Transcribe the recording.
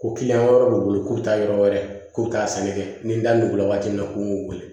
Ko kiliyan wɛrɛ b'u bolo ko taa yɔrɔ wɛrɛ ko k'a sɛnɛkɛ ni n da nugula waati min na k'o y'u wele